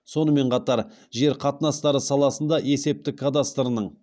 сонымен қатар жер қатынастары саласында есептік кадастрының